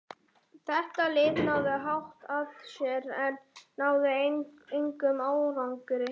Þetta lið lagði hart að sér en náði engum árangri.